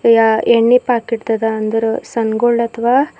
ಯ ಎಣ್ಣೀ ಪಾಕೆಟ್ ಅದ ಅಂದ್ರ ಸನ್ ಗೋಲ್ಡ್ ಅಥವಾ--